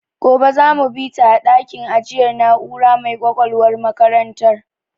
Gobe za mu bita a dakin ajiyar na'ura mai ƙwaƙwalwar makarantar.